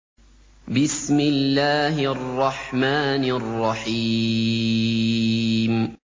بِسْمِ اللَّهِ الرَّحْمَٰنِ الرَّحِيمِ